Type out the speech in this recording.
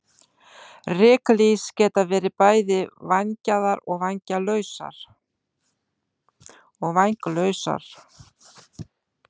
Ryklýs geta verið bæði vængjaðar og vænglausar.